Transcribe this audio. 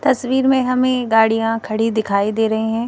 तस्वीर में हमें गाड़ियां खड़ी दिखाई दे रही हैं।